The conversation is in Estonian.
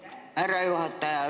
Aitäh, härra juhataja!